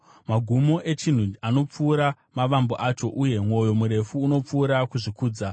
Magumo echinhu anopfuura mavambo acho, uye mwoyo murefu unopfuura kuzvikudza.